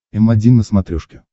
м один на смотрешке